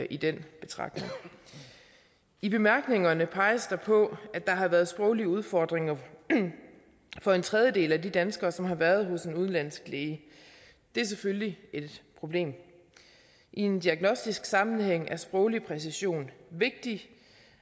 i den betragtning i bemærkningerne peges der på at der har været sproglige udfordringer for en tredjedel af de danskere som har været hos en udenlandsk læge det er selvfølgelig et problem i en diagnostisk sammenhæng er sproglig præcision vigtig